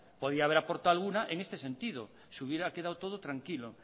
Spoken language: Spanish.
podía haber aportado alguna en este sentido se hubiera quedado todo tranquilo